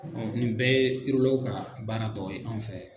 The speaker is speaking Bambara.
nin bɛɛ ye ka baara tɔ ye an fɛ